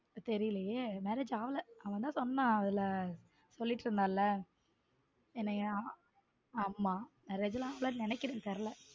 தெரியலையே marriage ஆகல அவன் தான் சொன்னான் அதுல சொல்லிட்டு இருந்தான்ல என்னைய ஆமா நினைக்கிற தெரியல.